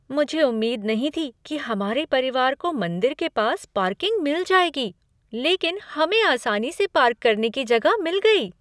मुझे उम्मीद नहीं थी कि हमारे परिवार को मंदिर के पास पार्किंग मिल जाएगी, लेकिन हमें आसानी से पार्क करने की जगह मिल गई।